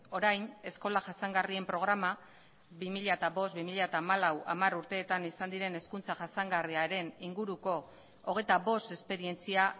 orain eskola jasangarrien programa bi mila bost bi mila hamalau hamar urteetan izan diren hezkuntza jasangarriaren inguruko hogeita bost esperientzia